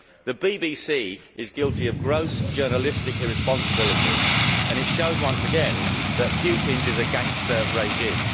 The BBC is guilty of gross journalistic irresponsibility, and this shows once again that Putin's is a gangster regime.